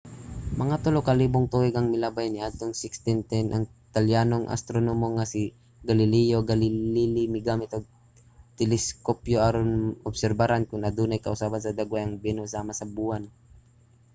mga tulo ka libong tuig ang milabay niadtong 1610 ang italyanong astronomo nga si galileo galilei migamit og teleskopyo aron obserbaran kon adunay kausaban sa dagway ang venus sama sa buwan